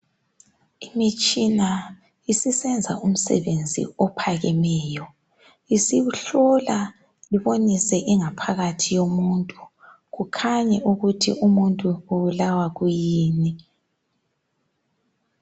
Imitshina isisenza umsebenzi ophakemeyo isihlola ibonise ingaphakathi yomuntu kukhanye ukuthi umuntu ubulawa kuyini.